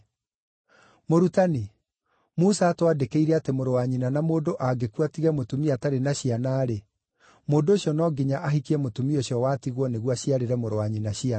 “Mũrutani, Musa aatwandĩkĩire atĩ mũrũ wa nyina na mũndũ angĩkua atige mũtumia atarĩ na ciana-rĩ, mũndũ ũcio no nginya ahikie mũtumia ũcio watigwo nĩguo aciarĩre mũrũ wa nyina ciana.